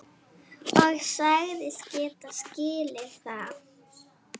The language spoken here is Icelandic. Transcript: Og sagðist geta skilið það.